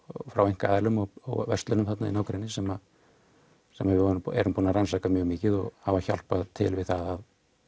frá einkaaðilum og verslunum þarna í nágrenni sem sem við erum búin að rannsaka mjög mikið og hafa hjálpað til við að